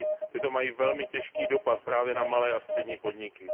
Tyto mají velmi těžký dopad právě na malé a střední podniky.